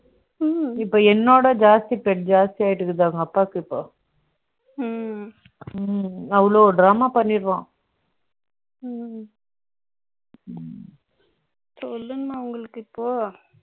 என்னோட ஜாஸ்தி ped ஜாஸ்தியாயிட்டு இருக்குது, அவங்க அப்பாக்கு இப்போ. ம், ம், அவ்வளவு drama பண்ணிடுவான். ம், சொல்லும்மா, உங்களுக்கு இப்போ. ம்